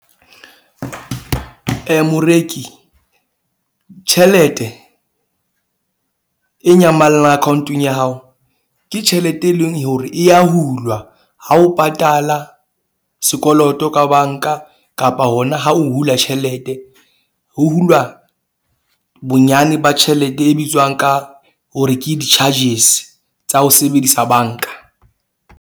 Moreki tjhelete e nyamallang account-ong ya hao, ke tjhelete, e leng hore e ya hulwa ha o patala sekoloto ka bank-a kapa hona ha o hula tjhelete. Ho hulwa bonyane ba tjhelete e bitswang ka hore ke di-charges tsa ho sebedisa bank-a.